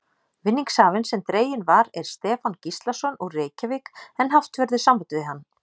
Vinningshafinn sem dreginn var er Stefán Gíslason, úr Reykjavík en haft verður samband við hann.